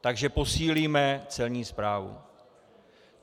Takže posílíme Celní správu.